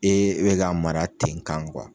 E e bɛ k'a mara ten kan